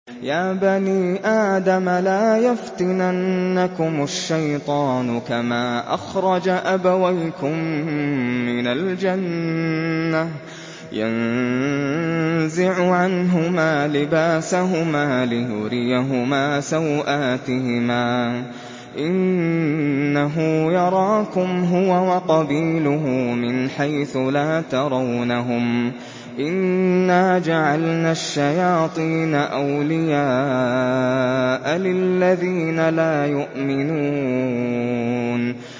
يَا بَنِي آدَمَ لَا يَفْتِنَنَّكُمُ الشَّيْطَانُ كَمَا أَخْرَجَ أَبَوَيْكُم مِّنَ الْجَنَّةِ يَنزِعُ عَنْهُمَا لِبَاسَهُمَا لِيُرِيَهُمَا سَوْآتِهِمَا ۗ إِنَّهُ يَرَاكُمْ هُوَ وَقَبِيلُهُ مِنْ حَيْثُ لَا تَرَوْنَهُمْ ۗ إِنَّا جَعَلْنَا الشَّيَاطِينَ أَوْلِيَاءَ لِلَّذِينَ لَا يُؤْمِنُونَ